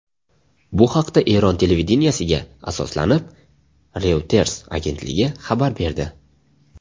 Bu haqda Eron televideniyesiga asoslanib, Reuters agentligi xabar berdi .